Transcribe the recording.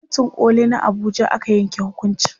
a kotun koli na Abuja aka yanke hukuncin